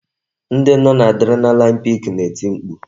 Ndị nọ n'Adrenalin pik na-eti mkpu